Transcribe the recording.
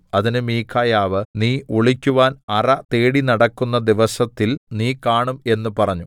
അതിന് മീഖായാവ് നീ ഒളിക്കുവാൻ അറ തേടിനടക്കുന്ന ദിവസത്തിൽ നീ കാണും എന്ന് പറഞ്ഞു